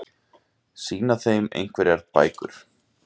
Sýna þeim einhverjar bækur?